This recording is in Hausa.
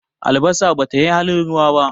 Albasa ba ta yi halin ruwa ba.